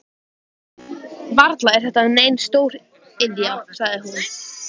Varla er þetta nein stóriðja? sagði hún.